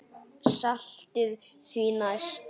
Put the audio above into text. Saltið því næst.